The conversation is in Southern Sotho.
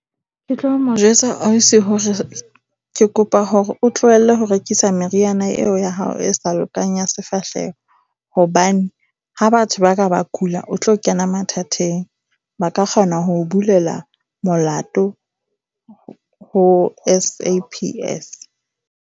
Ke tlo mo jwetsa ausi hore ke kopa hore o tlohelle ho rekisa meriana eo ya hao e sa lokang ya sefahleho. Hobane ha batho ba ka ba kula, o tlo kena mathateng. Ba ka kgona ho o bulela molato ho SAPS.